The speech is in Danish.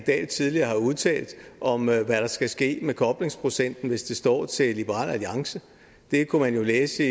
dahl tidligere har udtalt om hvad der skal ske med koblingsprocenten hvis det står til liberal alliance det kunne man jo læse